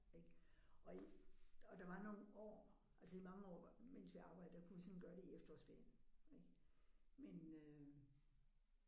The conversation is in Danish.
Ik og og der var nogle år altså i mange år mens vi arbejdede der kunne vi sådan gøre det i efterårsferien ik men øh